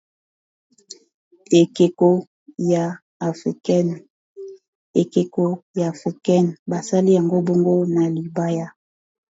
ekeko ya africa basali yango bongo na libaya